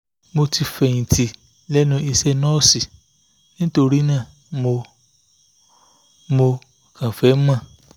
mo ti fẹ̀yìn tì lẹ́nu iṣẹ́ nọ́ọ̀sì torí náà mo mo kàn fẹ́ mọ̀